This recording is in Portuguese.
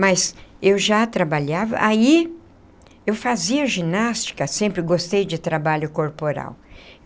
Mas eu já trabalhava, aí eu fazia ginástica, sempre gostei de trabalho corporal.